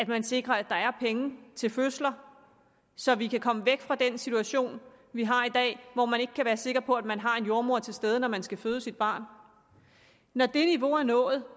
man sikrer at der er penge til fødsler så vi kan komme væk fra den situation vi har i dag hvor man ikke kan være sikker på at man har en jordemoder til stede når man skal føde sit barn når det niveau er nået